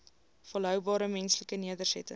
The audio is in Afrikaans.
volhoubare menslike nedersettings